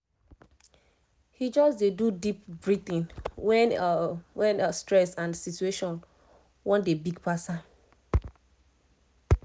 he just dey do deep breathing when when stress and situation wan dey big pass am